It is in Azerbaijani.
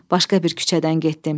Başqa bir küçədən getdim.